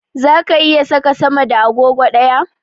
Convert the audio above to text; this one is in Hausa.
Zaka iya saka sama da agogo ɗaya?